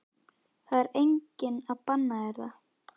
Það er enginn að banna þér það.